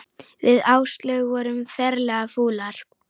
Við Áslaug vorum ferlega fúlar.